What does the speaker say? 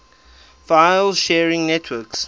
file sharing networks